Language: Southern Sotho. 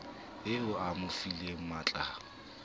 eo a mo fileng matlaya